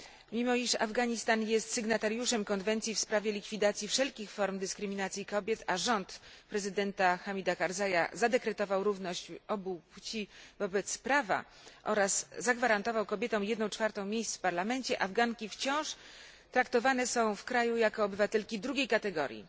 Mimo, iż Afganistan jest sygnatariuszem Konwencji w sprawie likwidacji wszelkich form dyskryminacji kobiet, a rząd prezydenta Hamida Karzaja zadekretował równość obu płci wobec prawa oraz zagwarantował kobietom jedną czwartą miejsc w parlamencie, Afganki wciąż traktowane są w kraju jako obywatelki drugiej kategorii.